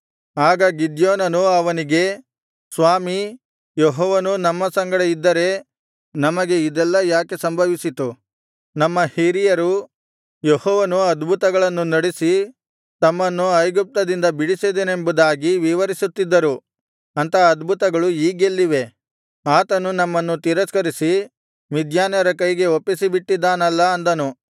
ಆಗ ಗಿದ್ಯೋನನು ಅವನಿಗೆ ಸ್ವಾಮೀ ಯೆಹೋವನು ನಮ್ಮ ಸಂಗಡ ಇದ್ದರೆ ನಮಗೆ ಇದೆಲ್ಲಾ ಯಾಕೆ ಸಂಭವಿಸಿತು ನಮ್ಮ ಹಿರಿಯರು ಯೆಹೋವನು ಅದ್ಭುತಗಳನ್ನು ನಡಿಸಿ ತಮ್ಮನ್ನು ಐಗುಪ್ತದಿಂದ ಬಿಡಿಸಿದನೆಂಬುದಾಗಿ ವಿವರಿಸುತ್ತಿದ್ದರು ಅಂಥ ಅದ್ಭುತಗಳು ಈಗೆಲ್ಲಿವೆ ಆತನು ನಮ್ಮನ್ನು ತಿರಸ್ಕರಿಸಿ ಮಿದ್ಯಾನ್ಯರ ಕೈಗೆ ಒಪ್ಪಿಸಿಬಿಟ್ಟಿದ್ದಾನಲ್ಲಾ ಅಂದನು